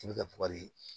I bɛ kari